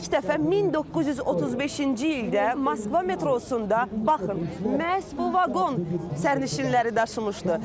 İlk dəfə 1935-ci ildə Moskva metrosunda baxın, məhz bu vaqon sərnişinləri daşımışdı.